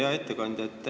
Hea ettekandja!